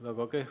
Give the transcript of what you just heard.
Väga kehv.